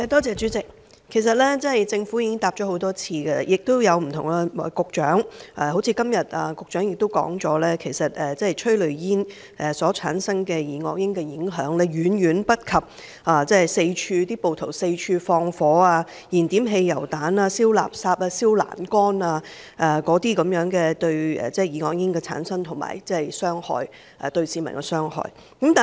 主席，這方面，政府曾多次回答，而不同局長也曾作出回覆，答覆也如局長今天所表示，就是催淚煙產生的二噁英的影響，遠遠不及暴徒四處放火、燃點汽油彈、燒垃圾、燒欄杆等所產生的二噁英和對市民造成的傷害。